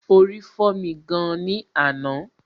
Orí fọ́mi gan ni àná